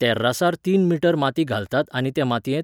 तेर्रासार तीन मीटर माती घालतात आनी ते मातयेंत